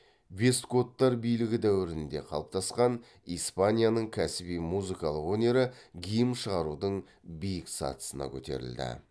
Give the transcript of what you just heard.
вестготтар билігі дәуірінде қалыптасқан испанияның кәсіби музыкалық өнері гимн шығарудың биік сатысына көтерілді